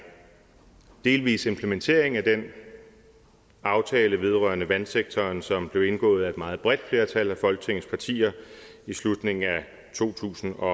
delvis implementering af den aftale vedrørende vandsektoren som blev indgået af et meget bredt flertal af folketingets partier i slutningen af to tusind og